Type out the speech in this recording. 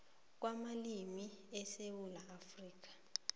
kwamalimi esewula afrika